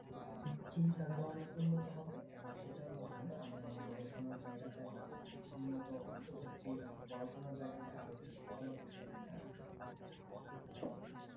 আহ চিন্তাধারা অনেক উন্নত হবে এবং সেটার মাধ্যমে আমি আমার গবেষণার জায়গায়টা বা উন্নত উচ্চত আহ পড়াশোনার জায়গাটাই আর বেশি ফলপ্রসুব হবে